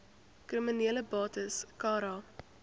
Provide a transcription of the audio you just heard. kriminele bates cara